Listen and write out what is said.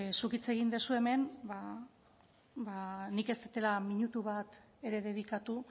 zuk hitz egin duzu hemen ba nik ez dudala minutu bat ere dedikatu